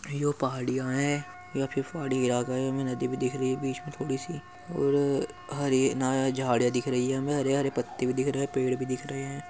यो पहाड़िया है या फिर पहाड़ी इलाका है। हमें नदी भी दिख रही है। बीच में थोड़ी सी और हरी झाड़ियाँ दिख रही है हमें हरे - हरे पत्ते भी दिख रहे है। पेड़ भी दिख रहे है।